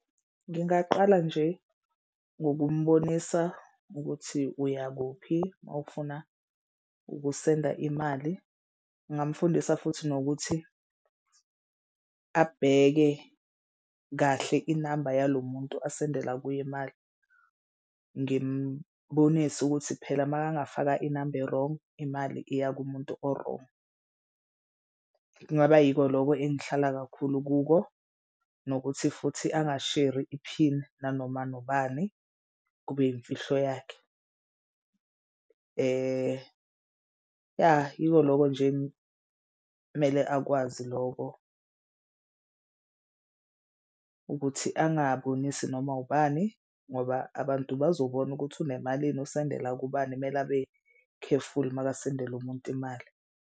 Ngingaqala nje ngokumbonisa ukuthi uyakuphi uma ufuna ukusenda imali. Ngingamfundisa futhi nokuthi abheke kahle inamba yalo muntu asendela kuye imali. Ngimbonise ukuthi phela makangafaka inamba e-wrong imali iya kumuntu o-wrong. Kungaba yiko loko engihlala kakhulu kuko, nokuthi futhi angasheri iphini nanoma ubani, kube yimfihlo yakhe. Yah yiko loko nje kumele akwazi loko ukuthi angabonisi noma ubani ngoba abantu bazobona ukuthi unemalini, usendela kubani, kumele abekhefuli makasendela umuntu imali.